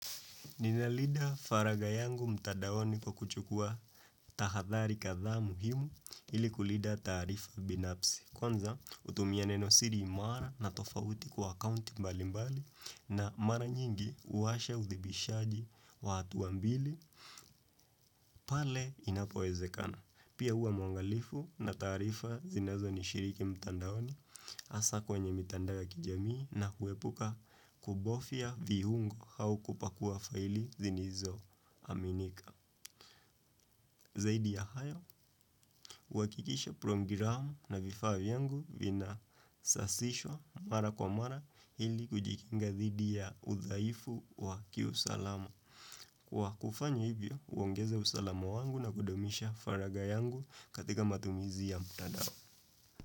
Ninalinda faragha yangu mtadaoni kwa kuchukua tahadhari kadha muhimu ili kulinda taarifa binafsi. Kwanza hutumia neno siri imara na tofauti kwa akaunti mbali mbali na mara nyingi huwasha uthibitishaji wa hatua mbili pale inapowezekana. Pia huwa mwangalifu na taarifa zinazo nishiriki mtandaoni hasa kwenye mitandao ya kijamii na kuepuka kuogofia viungo au kupakua faili zilizo aminika. Zaidi ya hayo, huhakikisha programu na vifa vyangu vina sasiswa mara kwa mara ili kujikinga dhidi ya udhaifu wa kiusalama. Kwa kufanya hivyo, huongeza usalama wangu na kudumisha faragha yangu katika matumizi ya mtandao.